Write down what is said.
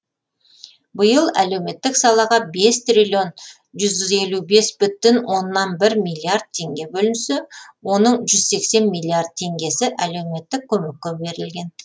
биыл әлеуметтік салаға бес триллион жүз елу бес бүтін оннан бір миллиард теңге бөлінсе оның жүз сексен миллиард теңгесі әлеуметтік көмекке берілген